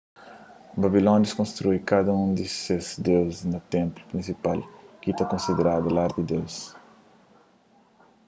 babilónius konstrui kada un di ses deuzis un ténplu prinsipal ki ta konsiderada lar di deus